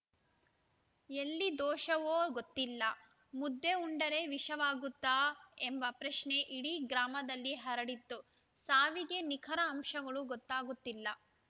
ಎಲ್ಲಿ ದೋಷವೋ ಗೊತ್ತಿಲ್ಲ ಮುದ್ದೆ ಉಂಡರೆ ವಿಷವಾಗುತ್ತಾ ಎಂಬ ಪ್ರಶ್ನೆ ಇಡೀ ಗ್ರಾಮದಲ್ಲಿ ಹರಡಿದ್ದು ಸಾವಿಗೆ ನಿಖರ ಅಂಶಗಳು ಗೊತ್ತಾಗುತ್ತಿಲ್ಲ